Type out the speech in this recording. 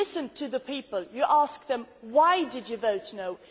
If you listen to the people, you ask them Why did you vote no'?